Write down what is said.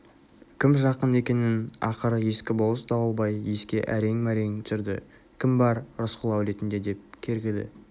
кім жақын екенін ақыры ескі болыс дауылбай еске әрең-мәрең түсірді кім бар рысқұл әулетінде деп кергіді